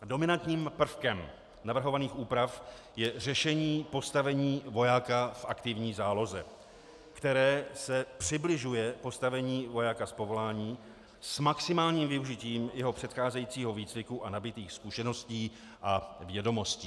Dominantním prvkem navrhovaných úprav je řešení postavení vojáka v aktivní záloze, které se přibližuje postavení vojáka z povolání s maximálním využitím jeho předcházejícího výcviku a nabytých zkušeností a vědomostí.